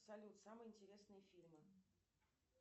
салют самые интересные фильмы